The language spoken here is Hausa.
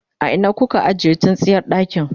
a Ina kuka ajiye tsintsiyar ɗakin?